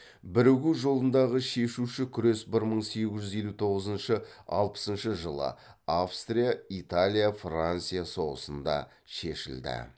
бірігу жолындағы шешуші күрес бір мың сегіз жүз елу тоғызыншы алпысыншы жылы австрия италия франция соғысында шешілді